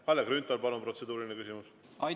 Kalle Grünthal, palun, protseduuriline küsimus!